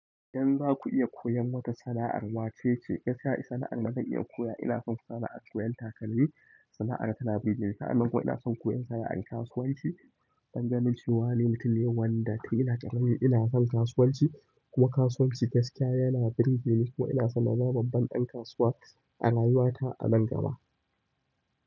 Idan za ku iya koyan wata sana'ar, wacce ce? Gaskiya sana'ar dazan iya koya ina son sana'ar koyan takalmi, sana'ar tana birgeni, sa'annan kuma ina son koyan sana'ar kasuwanci. Don ganin cewa ni mutun ne wanda tun ina ƙarami inason kasuwanci kuma kasuwanci gaskiya yana burgeni kuma inason in zama babban ɗan kasuwa a rayuwa ta a nan gaba.